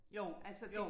Jo jo